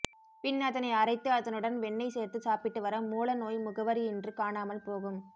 பின் அதனை அரைத்து அதனுடன் வெண்ணெய் சேர்த்து சாப்பிட்டு வர மூல நோய் முகவரியின்றி காணாமல் போகும்